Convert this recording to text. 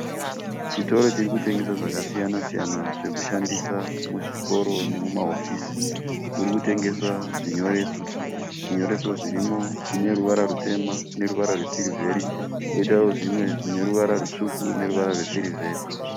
Chitoro chiri kutengesa zvakasiyana-siyana zvekushandisa muzvikoro nemuma hofisi. Murikutengeswa zvinyoreso. Zvinyoreso zvirimo zvineruvara rutema neruvara rwe sirivheri, koitawo zvimwe zvine ruvara rutsvuku neruvara rwe sirivheri .